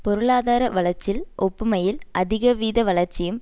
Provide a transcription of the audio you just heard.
பொருளாதார வளர்ச்சில் ஒப்புமையில் அதிக வீத வளர்ச்சியும்